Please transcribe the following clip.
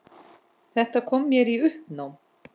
Þetta kom mér í uppnám